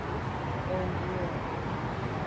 Ó je.